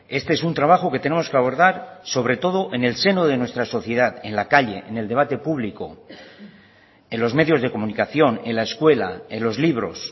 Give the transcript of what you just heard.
este es un trabajo que tenemos que abordar sobre todo en el seno de nuestra sociedad en la calle en el debate público en los medios de comunicación en la escuela en los libros